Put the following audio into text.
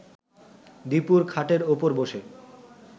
দীপুর খাটের ওপর বসে